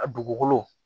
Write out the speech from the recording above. A dugukolo